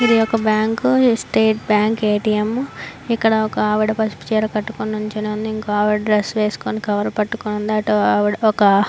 ఇదొక bank state bank A T M ఇక్కడొక ఆవిడా పసుపు రంగు చీర కట్టుకొని నుంచొని ఉంది ఇంకో ఆవిడ డ్రెస్ వేసుకొని కవర్ పట్టుకొని అటు ఒక--